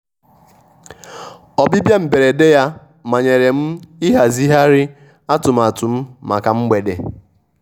ọ́bịbịá mbérédé yá mányèré m íházighíhárí àtụ́mátụ́ m mákà mgbédé.